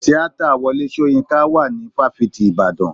Tíátà Wọlé Soyinka wà ní fáfitì ìbàdàn.